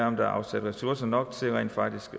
om der er afsat ressourcer nok til rent faktisk